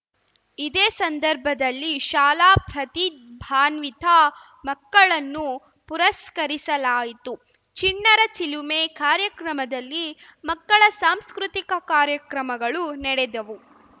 ಇದೇ ಸಂದರ್ಭದಲ್ಲಿ ಶಾಲಾ ಪ್ರತಿಭಾನ್ವಿತ ಮಕ್ಕಳನ್ನು ಪುರಸ್ಕರಿಸಲಾಯಿತು ಚಿಣ್ಣರ ಚಿಲುಮೆ ಕಾರ್ಯಕ್ರಮದಲ್ಲಿ ಮಕ್ಕಳ ಸಾಂಸ್ಕೃತಿಕ ಕಾರ್ಯಕ್ರಮಗಳು ನೆಡೆದವು